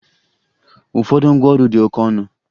Ụfọdụ ngwaọrụ dị oke ọnụ